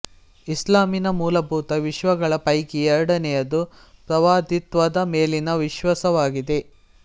ಇಸ್ಲಾಮಿನ ಮೂಲಭೂತ ವಿಶ್ವಾಸಗಳ ಪೈಕಿ ಎರಡೆನೆಯದು ಪ್ರವಾದಿತ್ವದ ಮೇಲಿನ ವಿಶ್ವಾಸವಾಗಿದೆ